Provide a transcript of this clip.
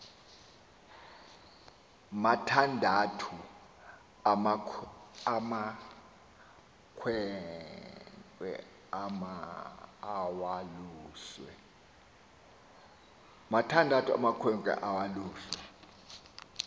mathandathu amakhwenkne awaluswe